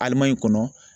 Alimayi kɔnɔ